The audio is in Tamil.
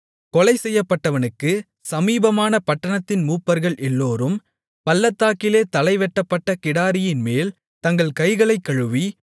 கொலைசெய்யப்பட்டவனுக்குச் சமீபமான பட்டணத்தின் மூப்பர்கள் எல்லோரும் பள்ளத்தாக்கிலே தலை வெட்டப்பட்ட கிடாரியின்மேல் தங்கள் கைகளைக் கழுவி